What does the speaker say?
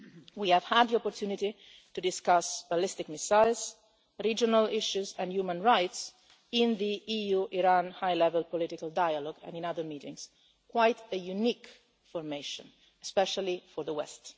ones. We have had the opportunity to discuss ballistic missiles, regional issues and human rights in the EU-Iran high level political dialogue and in other meetings quite a unique formation, especially for the